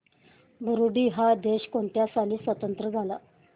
Burundi हा देश कोणत्या साली स्वातंत्र्य झाला